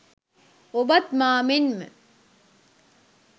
ඔබත් මා මෙන්ම